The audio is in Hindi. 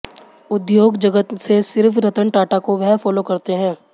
उद्योग जगत से सिर्फ रतन टाटा को वह फॉलो करते हैं